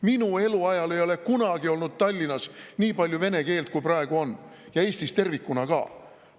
Minu eluajal ei ole kunagi olnud Tallinnas nii palju vene keelt, kui praegu on, ja Eestis tervikuna ka!